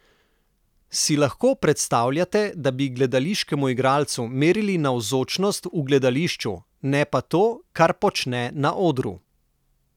Si lahko predstavljate, da bi gledališkemu igralcu merili navzočnost v gledališču, ne pa to, kar počne na odru?